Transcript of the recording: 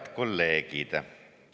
Head kolleegid!